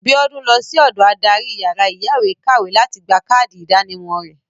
Biodun lọsí ọ̀dọ adarí yàrá ìyáwèékàwé láti gba káàdì ìdánimọ̀ rẹ̀.